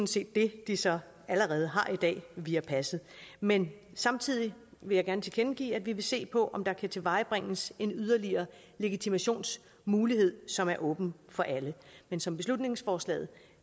set det de så allerede har i dag via passet men samtidig vil jeg gerne tilkendegive at vi vil se på om der kan tilvejebringes en yderligere legitimationsmulighed som er åben for alle men som beslutningsforslaget